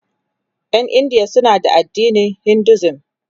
Ƴan India suna da addinin Hinduism